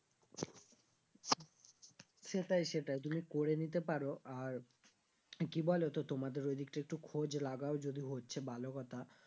সেটাই সেটাই তুমি করে নিতে পারো আর কি বলোতো তোমাদের ওই দিকটা একটু খোঁজ লাগাও যদি হচ্ছে ভালো কথা